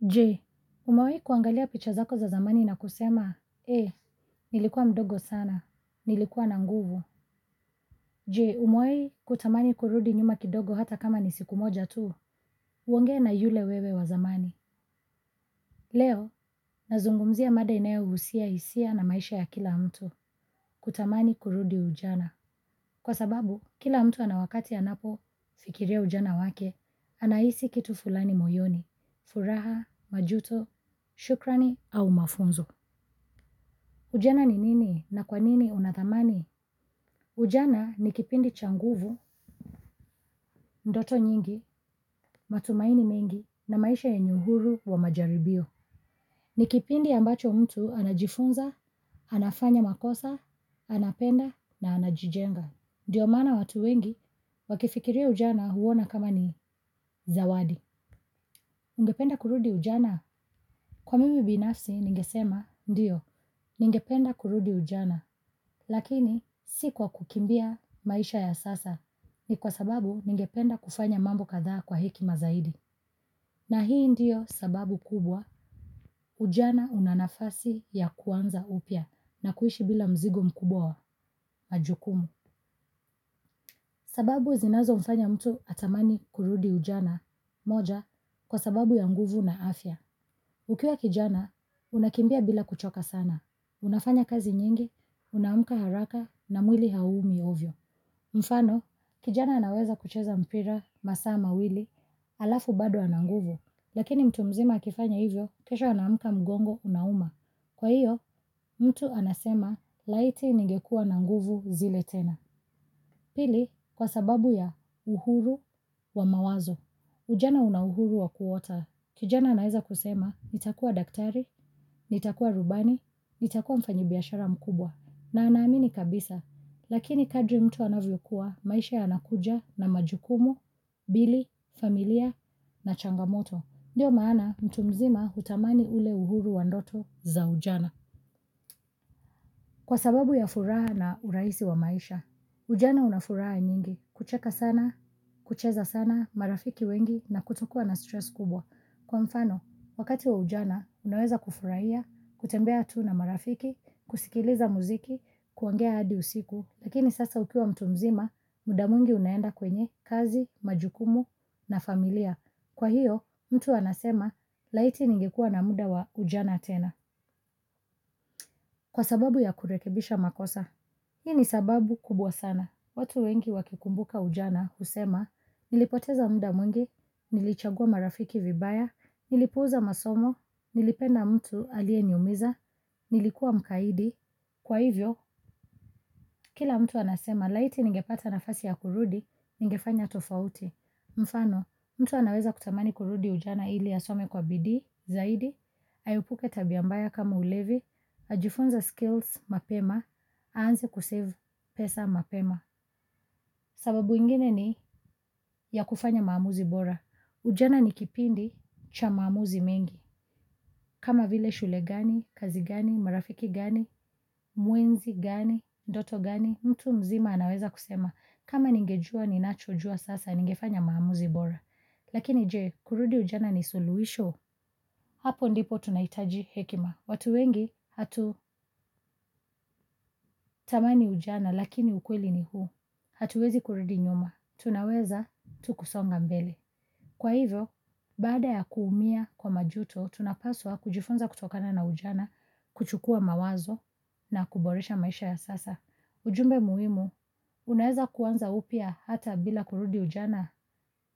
Je, umewahi kuangalia picha zako za zamani na kusema, ee, nilikuwa mdogo sana, nilikuwa nanguvu. Je, umewahi kutamani kurudi nyuma kidogo hata kama ni siku moja tu, uonge na yule wewe wa zamani. Leo, nazungumzia mada ina yo husia hisia na maisha ya kila mtu, kutamani kurudi ujana. Kwa sababu, kila mtu anawakati anapo fikiria ujana wake, anahisi kitu fulani moyoni, furaha, majuto, shukrani au mafunzo. Ujana ni nini na kwa nini unadhamani? Ujana ni kipindi changuvu, ndoto nyingi, matumaini mengi na maisha yenyeuhuru wa majaribio. Ni kipindi ambacho mtu anajifunza, anafanya makosa, anapenda na anajijenga. Ndiyo maana watu wengi, wakifikiria ujana huona kama ni zawadi. Ungependa kurudi ujana? Kwa mimi binafsi, ningesema, ndiyo, ningependa kurudi ujana. Lakini, si kwa kukimbia maisha ya sasa, ni kwa sababu ningependa kufanya mambo kadhaa kwa heki mazaidi. Na hii ndiyo sababu kubwa, ujana unanafasi ya kuanza upya, na kuishi bila mzigo mkubwawa, majukumu. Sababu zinazo mfanya mtu atamani kurudi ujana, moja, kwa sababu ya nguvu na afya. Ukiwa kijana, unakimbia bila kuchoka sana. Unafanya kazi nyingi, unaamka haraka na mwili hauumi ovyo. Mfano, kijana anaweza kucheza mpira, masaama, wili, alafu bado ananguvu, lakini mtu mzima akifanya hivyo, kesho anaamka mgongo unauma. Kwa hiyo, mtu anasema, laiti ningekua nanguvu zile tena. Pili kwa sababu ya uhuru wa mawazo. Ujana una uhuru wa kuota. Kijana naweza kusema nitakua daktari, nitakua rubani, nitakua mfanyibiashara mkubwa na anaamini kabisa. Lakini kadri mtu anavyo kuwa maisha ya nakuja na majukumu, bili, familia na changamoto. Ndiyo maana mtu mzima hutamani ule uhuru wa ndoto za ujana. Kwa sababu ya furaha na urahisi wa maisha, ujana unafuraha nyingi, kucheka sana, kucheza sana, marafiki wengi na kutokuwa na stress kubwa. Kwa mfano, wakati wa ujana, unaweza kufurahia, kutembea tu na marafiki, kusikiliza muziki, kuongea hadi usiku, lakini sasa ukiwa mtu mzima, mudamwingi unaenda kwenye, kazi, majukumu na familia. Kwa hiyo, mtu anasema, laiti ningekuwa na muda wa ujana tena. Kwa sababu ya kurekebisha makosa. Hii ni sababu kubwa sana. Watu wengi wakikumbuka ujana, husema, nilipoteza muda mwingi, nilichagua marafiki vibaya, nilipuuza masomo, nilipenda mtu aliye niumiza, nilikuwa mkaidi. Kwa hivyo, kila mtu anasema, laiti ningepata na fasi ya kurudi, ningefanya tofauti. Mfano, mtu anaweza kutamani kurudi ujana ili asome kwa bidii, zaidi, aepuke tabiambaya kama ulevi, ajifunze skills mapema, aanze kusave pesa mapema. Sababu ingine ni ya kufanya maamuzi bora. Ujana ni kipindi cha maamuzi mengi. Kama vile shule gani, kazi gani, marafiki gani, mwinzi gani, ndoto gani, mtu mzima anaweza kusema. Kama ningejua, ninachojua sasa, ningefanya maamuzi bora. Lakini je, kurudi ujana ni suluhisho. Hapo ndipo tunahitaji hekima. Watu wengi, hatu tamani ujana, lakini ukweli ni huu. Hatuwezi kurudi nyuma. Tunaweza, tukusonga mbele. Kwa hivyo, baada ya kuumia kwa majuto, tunapaswa kujifunza kutokana na ujana, kuchukua mawazo, na kuboresha maisha ya sasa. Ujumbe muhimu, unaweza kuanza upya hata bila kurudi ujana,